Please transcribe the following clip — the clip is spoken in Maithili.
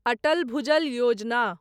अटल भुजल योजना